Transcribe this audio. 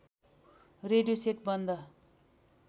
radio set बन्द